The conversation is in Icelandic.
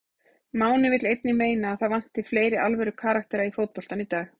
Máni vill einnig meina að það vanti fleiri alvöru karaktera í fótboltann í dag.